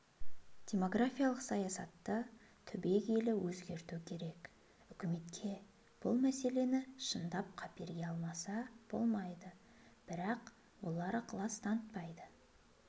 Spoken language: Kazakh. демографиялық саясатты түбегейлі өзгерту керек үкіметке бұл мәселені шындап қаперге алмаса болмайды бірақ олар ықылас танытпайды